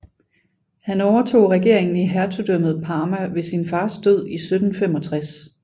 Han overtog regeringen i Hertugdømmet Parma ved sin fars død i 1765